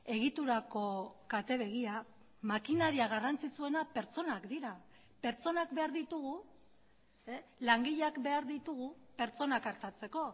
egiturako kate begia makinaria garrantzitsuena pertsonak dira pertsonak behar ditugu langileak behar ditugu pertsonak artatzeko